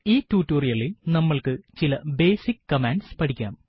ഈ ടുട്ടോറിയലിൽ നമ്മൾക്ക് ചില ബേസിക് കമാൻഡ്സ് പഠിക്കാം